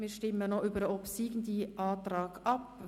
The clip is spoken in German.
Wir stimmen nun über den obsiegenden Antrag ab.